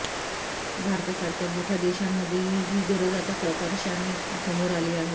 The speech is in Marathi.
भारतासारख्या मोठ्या देशांमध्येही ही गरज आता प्रकर्षाने समोर आली आहे